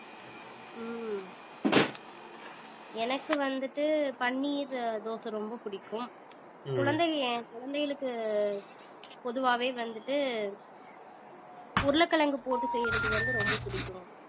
ஹம் எனக்கு வந்துட்டு பன்னீர் தோசை ரொம்ப பிடிக்கும் குழந்தைங்க என் குழந்தைகளுக்கு பொதுவாவே வந்துட்டு உருளைக்கிழங்கு போட்டு செய்யறது வந்து ரொம்ப பிடிக்கும்